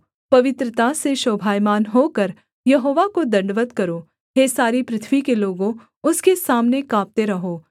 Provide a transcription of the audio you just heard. पवित्रता से शोभायमान होकर यहोवा को दण्डवत् करो हे सारी पृथ्वी के लोगों उसके सामने काँपते रहो